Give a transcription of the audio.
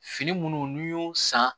Fini munnu n'i y'o san